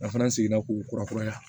A fana sigira k'u kura kuraya